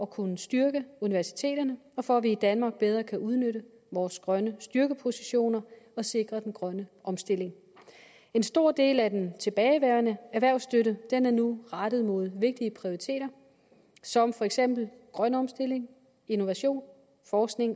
kunne styrke universiteterne og for at vi i danmark bedre kan udnytte vores grønne styrkepositioner og sikre den grønne omstilling en stor del af den tilbageværende erhvervsstøtte er nu rettet mod vigtige prioriteter som for eksempel grøn omstilling innovation forskning